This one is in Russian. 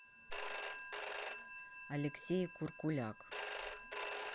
алексей куркуляк